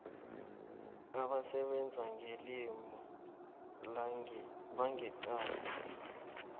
abasebenza ngelimi bangeqadi